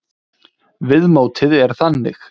Viðmótið er þannig.